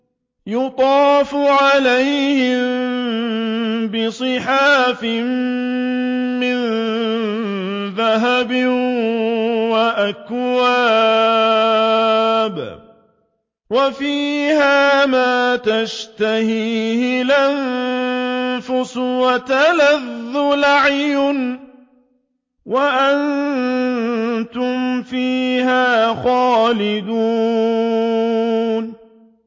يُطَافُ عَلَيْهِم بِصِحَافٍ مِّن ذَهَبٍ وَأَكْوَابٍ ۖ وَفِيهَا مَا تَشْتَهِيهِ الْأَنفُسُ وَتَلَذُّ الْأَعْيُنُ ۖ وَأَنتُمْ فِيهَا خَالِدُونَ